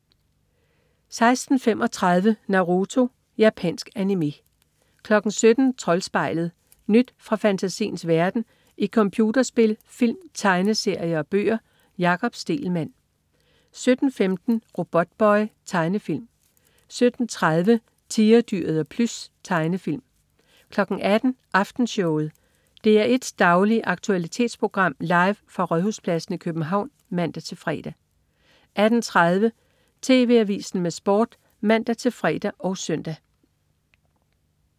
16.35 Naruto. Japansk animé 17.00 Troldspejlet. Nyt fra fantasiens verden i computerspil, film, tegneserier og bøger. Jakob Stegelmann 17.15 Robotboy. Tegnefilm 17.30 Tigerdyret og Plys. Tegnefilm 18.00 Aftenshowet. DR1s daglige aktualitetsprogram, live fra Rådhuspladsen i København (man-fre) 18.30 TV Avisen med Sport (man-fre og søn)